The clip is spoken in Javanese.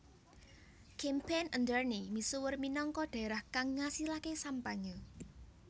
Champagne Ardenne misuwur minangka dhaerah kang ngasilaké sampanye